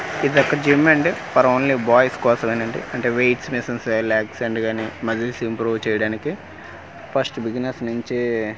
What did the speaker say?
ఇది ఒక జిమ్ అండి ఫర్ ఓన్లీ బాయ్స్ కోసమేనండి అంటే వెయిట్స్ మిషన్స్ అలెక్జ్ అండ్ గాని మజిల్ ఇంప్రూవ్ చేయడానికి ఫస్ట్ బిగినర్స్ నుంచీ--